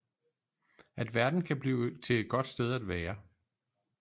At verden kan blive til et godt sted at være